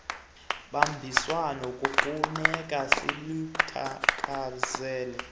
bambiswano kufuneke siluthakazele